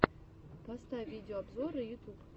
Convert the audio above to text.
поставь видеообзоры ютуб